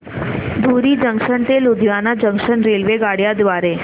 धुरी junction ते Ludhiana junction रेल्वेगाड्यां द्वारे